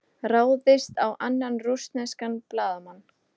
Ráðist á annan rússneskan blaðamann